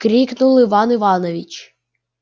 крикнул иван иванович